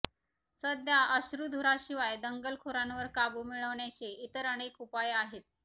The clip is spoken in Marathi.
सध्या अश्रूधुराशिवाय दंगलखोरांवर काबू मिळवण्याचे इतर अनेक उपाय आहेत